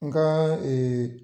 Nka ee